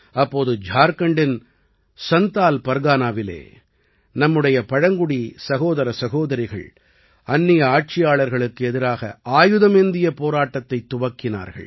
அப்போது ஜார்க்கண்டின் சந்தால் பர்கனாவிலே நம்முடைய பழங்குடி சகோதர சகோதரிகள் அந்நிய ஆட்சியாளர்களுக்கு எதிராக ஆயுதமேந்திய போராட்டத்தைத் துவக்கினார்கள்